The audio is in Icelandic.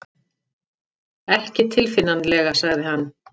Ekki tilfinnanlega sagði hann.